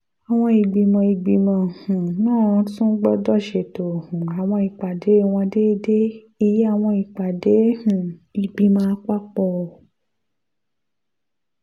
àwọn ìgbìmọ̀ ìgbìmọ̀ um náà tún gbọ́dọ̀ ṣètò um àwọn ìpàdé wọn déédéé ìyẹn àwọn ìpàdé um ìgbìmọ̀ àpapọ̀